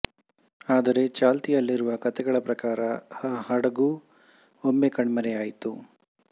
ಆದರೆ ಚಾಲ್ತಿಯಲ್ಲಿರುವ ಕಥೆಗಳ ಪ್ರಕಾರ ಆ ಹಡಗು ಒಮ್ಮೆ ಕಣ್ಮರೆಯಾಯ್ತು